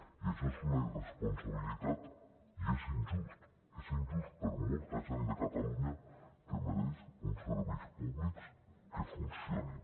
i això és una irresponsabilitat i és injust és injust per a molta gent de catalunya que mereix uns serveis públics que funcionin